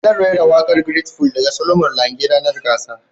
zan raira waƙar great full daga Solomon Lange ranar gasar